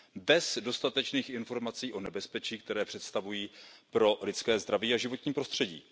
bez dostatečných informací o nebezpečí, které představují pro lidské zdraví a životní prostředí.